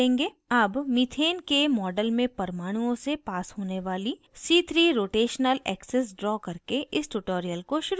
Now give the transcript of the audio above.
अब methane के model में परमाणुओं से पास होने वाली c3 rotational axis ड्रा करके इस tutorial को शुरू करते हैं